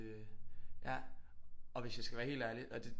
Øh ja og hvis jeg skal være helt ærlig og det